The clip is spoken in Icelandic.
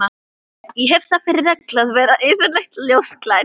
Ég hef það fyrir reglu að vera yfirleitt ljósklædd.